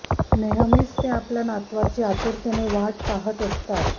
नेहमीच ते आपल्या नातवाची आतुरतेने वाट पाहत असतात